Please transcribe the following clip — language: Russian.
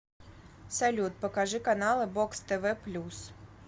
салют покажи каналы бокс тв плюс